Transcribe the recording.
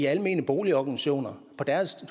almene boligorganisationers